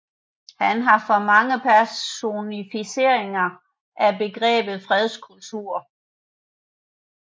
Han er for mange personificeringen af begrebet fredskultur